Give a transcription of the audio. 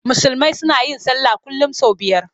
Musulmi suna yin sallah kullum sau biyar.